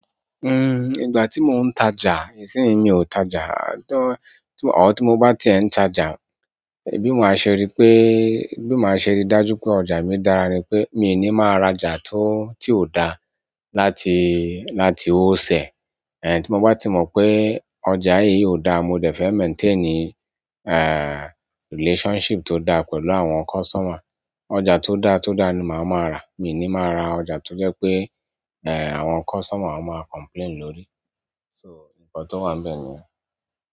Uhm, ìgbà tí mo ń ta ja ìsíni mi o ta ja tán, àtún, àtún, àtún, tí mo bá ti ń ta ja, bí mo máa ṣe rí pé, bí mo máa ṣe rí dájú pé ọjà mi dára ni pé, mi ò ní máa ra ja tó, tí ò da láti, láti ó ṣẹ̀. Eh, tí mo bá ti mọ pé ọjà yìí yóò dáa, mo dẹ̀ fẹ́ maintain, eh, relationship tó dáa pẹ̀lú àwọn customer. Ọjà tó dáa tó dáa ni màá máa ra, mi ò ní máa ra ọjà tó jẹ́ pé, eh, àwọn customer máa complain lórí. So, ǹkan tó wà níbẹ̀ nìyẹn.